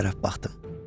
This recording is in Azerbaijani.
Evə tərəf baxdım.